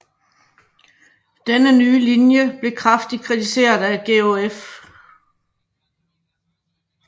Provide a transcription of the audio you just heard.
Denne nye linje blev kraftigt kritiseret af George F